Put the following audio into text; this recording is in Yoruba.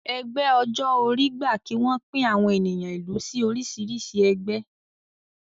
Ẹgbẹ́ ọjọ́ orí gba kí wọ́n pín àwọn ènìyàn ìlú sí oríṣìíríṣìí ẹgbẹ́